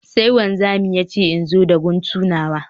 Sai wanzami ya ce in zo da guntu nawa